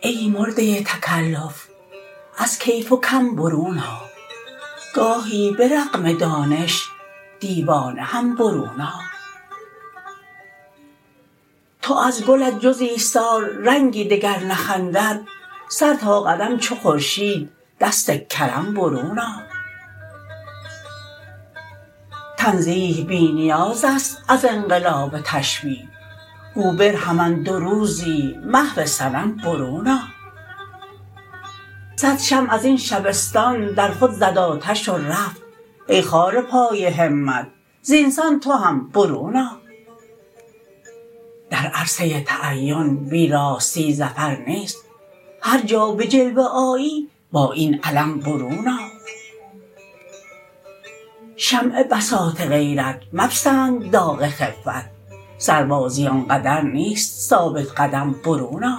ای مرده تکلف از کیف و کم برون آ گاهی به رغم دانش دیوانه هم برون آ تا ازگلت جز ایثار رنگی دگر نخندد سرتا قدم چو خورشید دست کرم برون آ تنزیه بی نیاز است از انقلاب تشبیه گو برهمن دو روزی محو صنم برون آ صدشمع ازین شبستان درخود زدآتش ورفت ای خار پای همت زینسان تو هم برون آ در عرصه تعین بی راستی ظفر نیست هرجا به جلوه آیی با این علم برون آ شمع بساط غیرت مپسند داغ خفت سربازی آنقدر نیست ثابت قدم برون آ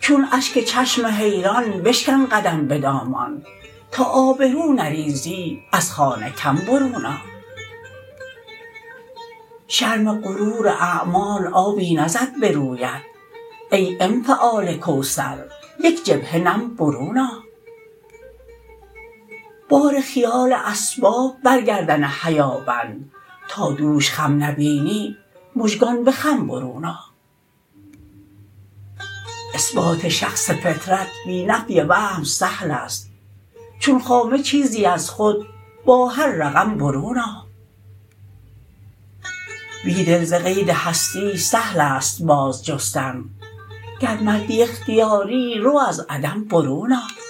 چون اشک چشم حیران بشکن قدم به دامان تا آبرو نریزی از خانه کم برون آ شرم غروراعمال آبی نزد به رویت ای انفعال کوثر یک جبهه نم برون آ بار خیال اسباب برگردن حیا بند تا دوش خم نبینی مژگان به خم برون آ اثبات شخص فطرت بی نفی وهم سهل است چون خامه چیزی ازخود باهر رقم برون آ بیدل زقید هستی سهل است بازجستن گر مردی اختیاری رو از عدم برون آ